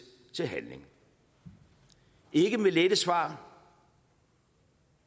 til handling ikke med lette svar